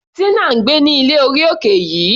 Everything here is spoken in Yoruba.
Tina ń gbé ní ilé orí òkè yìí.